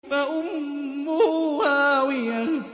فَأُمُّهُ هَاوِيَةٌ